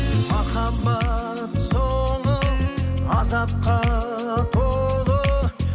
махаббат соңы азапқа толы